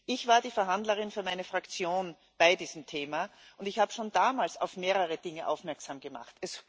Ich war die Verhandlerin für meine Fraktion bei diesem Thema und ich habe schon damals auf mehrere Dinge aufmerksam gemacht.